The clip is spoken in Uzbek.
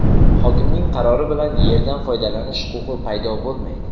"Hokimning qarori bilan yerdan foydalanish huquqi paydo bo‘lmaydi".